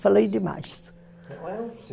Falei demais.